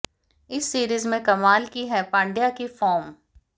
इस सीरीज में कमाल की है पंड्या की फॉर्म